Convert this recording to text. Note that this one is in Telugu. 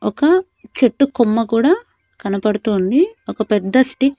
ఒక చెట్టు కొమ్మ కూడా కనబడుతోంది ఒక పెద్ద స్టి--